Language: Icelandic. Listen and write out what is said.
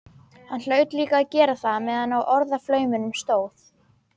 Hann hlaut líka að gera það meðan á orðaflauminum stóð.